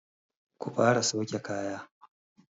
Ku fara sauke kaya!